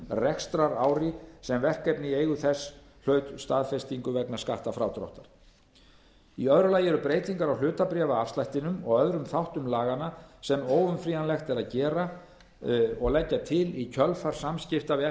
rekstrarári sem verkefni í eigu þess hlaut staðfestingu vegna skattfrádráttar í öðru lagi eru breytingar á hlutabréfaafslættinum og öðrum þáttum laganna sem óumflýjanlegt er að leggja til í kjölfar samskipta við